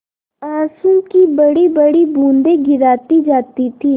आँसू की बड़ीबड़ी बूँदें गिराती जाती थी